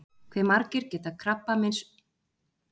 Hve margar geta krabbameinsfrumur í blóði orðið?